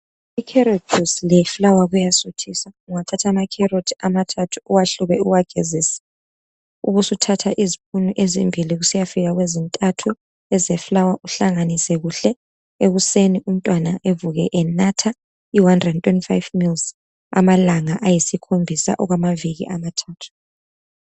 Icarrot juice leflour kuyasuthisa. Ungathatha amacarrot amathathu, uwahlube, uwagezise. Ubusuthatha izipunu ezimbili, kusiyafika kwezintathu, ezeflour, uhlanganise kuhle. Ekuseni umntwana evuke enatha 125mls , amalanga ayisikhombisa, okwamaviki amathathu.